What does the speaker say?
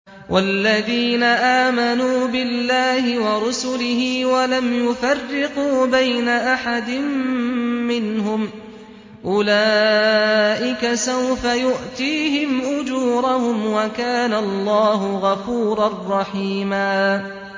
وَالَّذِينَ آمَنُوا بِاللَّهِ وَرُسُلِهِ وَلَمْ يُفَرِّقُوا بَيْنَ أَحَدٍ مِّنْهُمْ أُولَٰئِكَ سَوْفَ يُؤْتِيهِمْ أُجُورَهُمْ ۗ وَكَانَ اللَّهُ غَفُورًا رَّحِيمًا